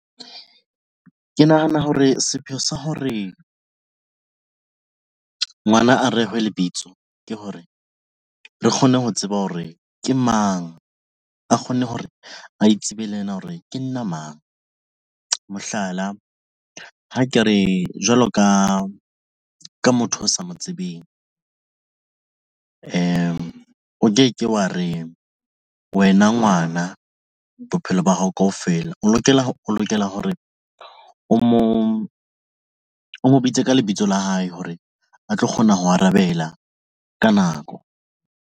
Ke nahana hore sepheo sa hore ngwana a rehwe lebitso ke hore re kgone ho tseba hore ke mang a kgone hore a itsebe le yena hore ke nna mang. Mohlala, ha ke re jwalo ka motho o sa mo tsebeng, o ke ke wa re wena ngwana na bophelo ba hao kaofela, o lokela hore o mo bitse ka lebitso la hae hore a tlo kgona ho arabela ka nako.